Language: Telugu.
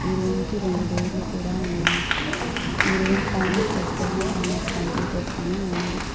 ఈ రూమ్ కి రెండు డోర్లు కూడా ఉన్నాయి ఈ రూమ్ పైన పోస్టర్ లో అనస్ కంప్యూటర్స్ అని ఉన్నది.